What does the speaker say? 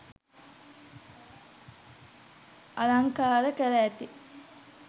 අලංකාර කර ඇති